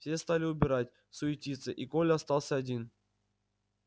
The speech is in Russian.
все стали убирать суетиться и коля остался один